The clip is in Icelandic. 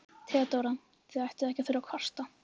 THEODÓRA: Þið ættuð ekki að þurfa að kvarta.